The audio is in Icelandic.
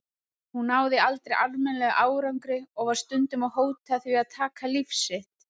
Hún náði aldrei almennilegum árangri og var stundum að hóta því að taka líf sitt.